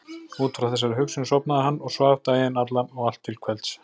Út frá þessari hugsun sofnaði hann og svaf daginn allan og allt til kvelds.